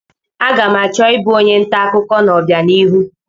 Aga m achọ ịbụ onye nta akụkọ n'ọbianihu.